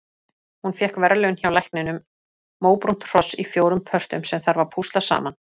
Hún fékk verðlaun hjá lækninum- móbrúnt hross í fjórum pörtum sem þarf að púsla saman.